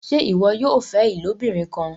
ṣe iwọ yóò fẹ ilobirin kán?